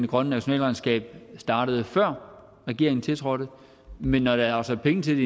grønne nationalregnskab startede før regeringen tiltrådte men når der er afsat penge til